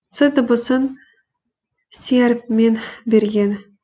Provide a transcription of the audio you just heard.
ц дыбысын с әріпімен берген